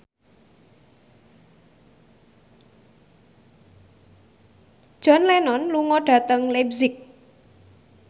John Lennon lunga dhateng leipzig